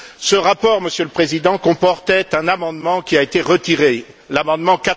Ce rapport, Monsieur le Président, comportait un amendement qui a été retiré, l'amendement